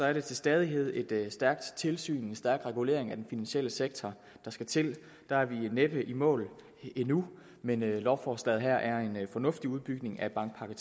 er det til stadighed et stærkt tilsyn en stærk regulering af den finansielle sektor der skal til der er vi næppe i mål endnu men lovforslaget her er en fornuftig udbygning af bankpakke